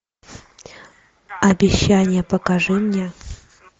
обещание покажи мне